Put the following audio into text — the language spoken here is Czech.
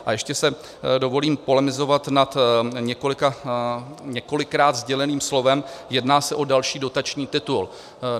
A ještě si dovolím polemizovat nad několikrát sděleným slovem "jedná se o další dotační titul".